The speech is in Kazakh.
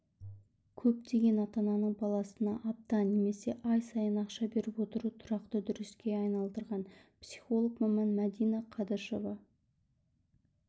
көптеген ата-ананың баласына апта немесе ай сайын ақша беріп отыруы тұрақты үрдіске айналдырған психолог-маман мәдина қадышева